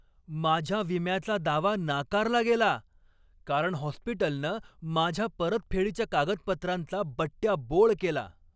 माझ्या विम्याचा दावा नाकारला गेला, कारण हॉस्पिटलनं माझ्या परतफेडीच्या कागदपत्रांचा बट्ट्याबोळ केला.